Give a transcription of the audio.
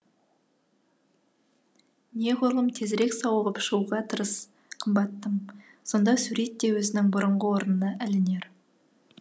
неғұрлым тезірек сауығып шығуға тырыс қымбаттым сонда сурет те өзінің бұрынғы орнына ілінер